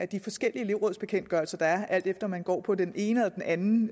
de forskellige elevbekendtgørelser der er alt efter om man går på den ene eller den anden